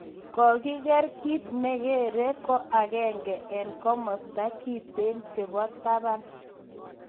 kotiger kit ne geree ko agenge en kamasta kiteen chebo tabaan